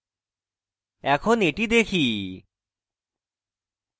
এখন এটি দেখি